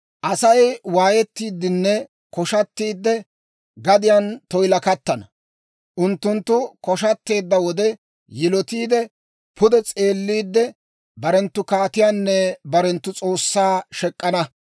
Asay waayettiiddinne koshshattiide, gadiyaan toyilakattana; unttunttu koshshatteedda wode yilottiide, pude s'eelliide barenttu kaatiyaanne barenttu S'oossaa shek'k'ana.